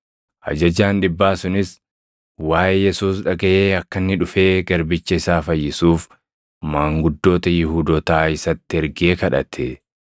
Ajajaan dhibbaa sunis waaʼee Yesuus dhagaʼee akka inni dhufee garbicha isaa fayyisuuf maanguddoota Yihuudootaa isatti ergee kadhate.